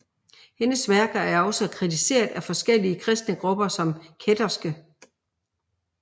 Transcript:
Hendes værker er også blevet kritiseret af forskellige kristne grupper som kætterske